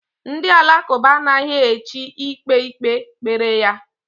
Ndị Alakụba anaghị echi ikpe ikpe kpere ya.